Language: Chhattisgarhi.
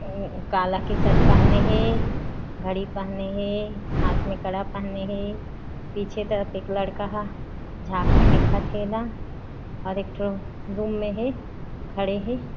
काला के शर्ट पहने हे घड़ी पहने हे हाथ में कड़ा पहने हे पीछे तरफ एक लड़का हा झाक के देखत हे न और एक ठो रूम में हे खड़े हे।